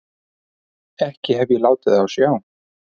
Ekki hef ég látið á sjá.